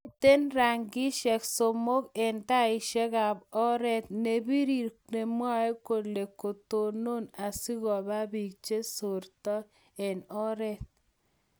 miten rangishek somok eng taishekab oret, nepirir nemwaee kole ketonon asigoba biik chesortoi eng oret